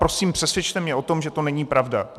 Prosím přesvědčte mě o tom, že to není pravda.